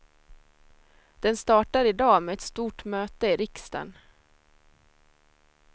Den startar i dag med ett stort möte i riksdagen.